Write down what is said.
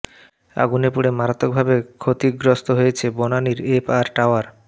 আগুনে পুড়ে মারাত্মকভাবে ক্ষতিগ্রস্ত হয়েছে বনানীর এফ আর টাওয়ার